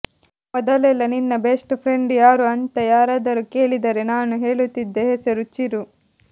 ಮೊದೆಲೆಲ್ಲಾ ನಿನ್ನ best friend ಯಾರು ಅಂತ ಯಾರಾದರೂ ಕೇಳಿದರೆ ನಾನು ಹೇಳುತ್ತಿದ್ದ ಹೆಸರು ಚಿರು